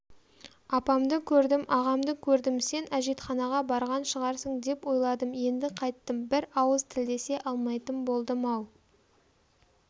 апамды көрдім агамды көрдім сен әжетханаға барған шығарсың деп ойладым енді қайттім бір ауыз тілдесе алмайтын болдым-ау